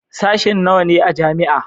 Sashen nawa ne a jami'a?